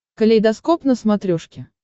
калейдоскоп на смотрешке